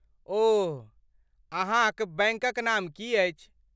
ओह, अहाँक बैंकक नाम की छी?